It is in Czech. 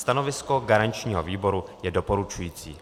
Stanovisko garančního výboru je doporučující.